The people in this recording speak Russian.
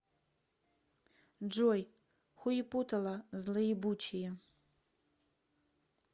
джой хуепутало злоебучее